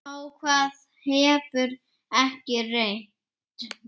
Á hvað hefur ekki reynt?